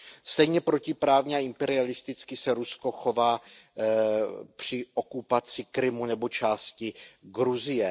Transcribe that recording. Stejně protiprávně a imperialisticky se Rusko chová při okupaci Krymu nebo části Gruzie.